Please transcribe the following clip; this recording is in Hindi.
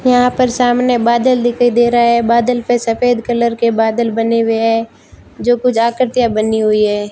यहां पर सामने बादल दिखाई दे रहा हैं बादल पे सफेद कलर के बादल बने हुए हैं जो कुछ आकृतियां बनी हुई हैं।